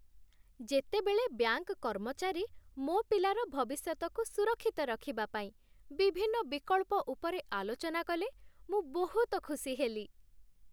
ଯେତେବେଳେ ବ୍ୟାଙ୍କ କର୍ମଚାରୀ ମୋ ପିଲାର ଭବିଷ୍ୟତକୁ ସୁରକ୍ଷିତ ରଖିବା ପାଇଁ ବିଭିନ୍ନ ବିକଳ୍ପ ଉପରେ ଆଲୋଚନା କଲେ, ମୁଁ ବହୁତ ଖୁସି ହେଲି।